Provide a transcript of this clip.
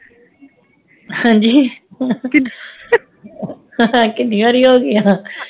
ਹਾਂਜੀ ਕੀਨੀ ਵਾਰੀ ਹੋਗਿਆ